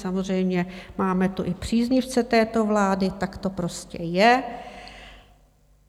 Samozřejmě máme tu i příznivce této vlády, tak to prostě je.